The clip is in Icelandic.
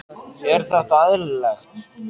Er þetta eðlilegt?